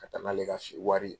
Ka taa n'ale ka si wari ye.